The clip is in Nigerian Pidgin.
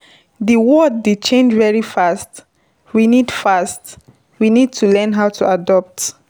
Di world dey change very fast, we need fast, we need to learn how to adopt